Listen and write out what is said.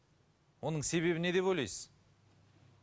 оның себебі не деп ойлайсыз